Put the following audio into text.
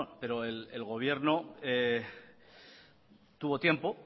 pero el gobierno tuvo tiempo